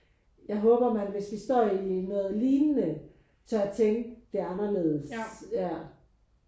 Jeg håber man hvis vi står i noget lignende tør tænke det anderledes ja